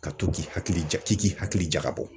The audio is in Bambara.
Ka to k'i hakili ja k'i k'i hakili jagabɔ